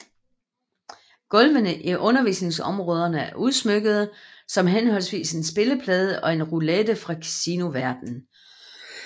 Gulvene i undervisningsområderne er udsmykkede som henholdsvis en spilleplade og en roulette fra Casinoverdenen